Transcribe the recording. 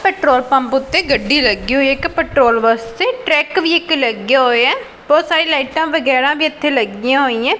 Petrol pump ਉੱਤੇ ਗੱਡੀ ਲੱਗੀ ਹੋਈ ਐ ਇੱਕ ਪੈਟਰੋਲ ਵਾਸਤੇ ਟਰੈਕ ਵੀ ਇੱਕ ਲੱਗਿਆ ਹੋਇਐ ਬਹੁਤ ਸਾਰੀ ਲਾਈਟਾਂ ਵਗੈਰਾ ਵੀ ਇੱਥੇ ਲੱਗੀਆਂ ਹੋਈਐਂ।